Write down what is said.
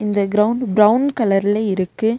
இந்த ground brown கலர்ல இருக்கு.